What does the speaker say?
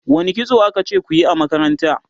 wani kitso akace kuyi a makaranta?